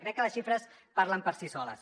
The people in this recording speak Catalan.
crec que les xifres parlen per si soles